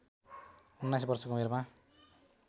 उन्नाइस वर्षको उमेरमा